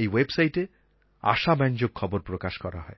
এই ওয়েবসাইটএ আশাব্যঞ্জক খবর প্রকাশ করা হয়